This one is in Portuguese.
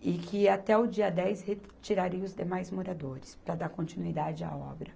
e que até o dia dez retirariam os demais moradores para dar continuidade à obra.